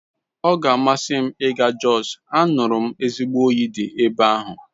Ọ ga-amasị m ịga Jos, anụrụ m ezigbo oyi dị ebe ahụ